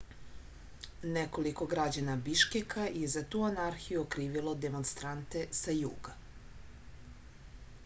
nekoliko građana biškeka je za tu anarhiju okrivilo demonstrante sa juga